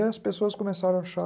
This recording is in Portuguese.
E as pessoas começaram a achar...